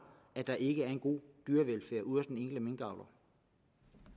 at der ikke er en god dyrevelfærd ude hos den enkelte minkavler